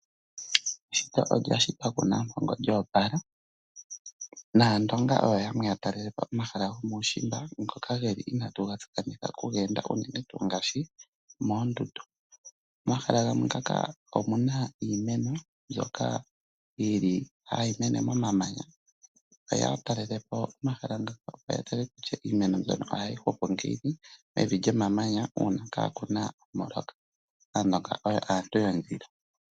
Eshito lyashitwa kuNampongo lyo opala nAandonga oyo yamwe yomamboka ya talalepo omahala gomushimba ngoka inatu ga tsakaneka oku ga enda unene tu ngashi moondundu. Momahala ngaka omuna iimeno mbyoka yili hayi mene momamanya noya talelepo omahala ngoka opo ya tale nokutya iimeno mbyoka ohayi hupu ngini momamanya una ka kuna omuloka. Aandonga oyo aantu yondilo.